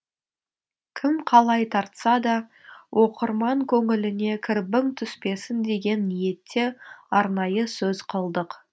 кім қалай тартса да оқырман көңіліне кірбің түспесін деген ниетте арнайы сөз қылдық